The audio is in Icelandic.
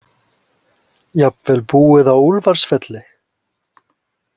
Jafnvel búið á Úlfarsfelli.